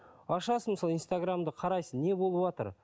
ашасың мысалы инстаграмды қарайсың не болыватыр